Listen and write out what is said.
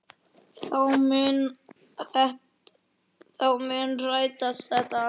Þá mun rætast þetta allt.